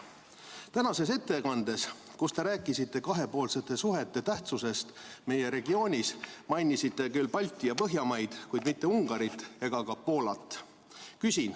" Tänases ettekandes, kus te rääkisite kahepoolsete suhete tähtsusest meie regioonis, mainisite küll Balti- ja Põhjamaid, kuid mitte Ungarit ega ka Poolat.